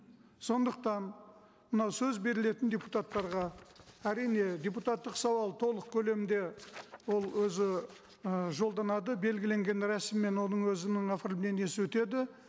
сондықтан мынау сөз берілетін депутаттарға әрине депутаттық сауал толық көлемде ол өзі ы жолданады белгіленген рәсіммен оның өзінің оформлениесі өтеді